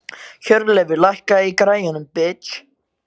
Hjörleifur, lækkaðu í græjunum.